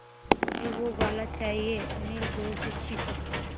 मझे वो वाला चाहिए अनिल ज़ोर से चीख़ा